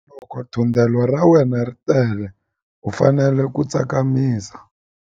Loko thundelo ra wena ri tele u fanele ku tsakamisa.